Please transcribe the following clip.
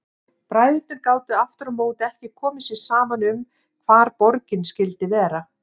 Bræðurnir gátu aftur á móti ekki komið sér saman um hvar borgin skyldi vera.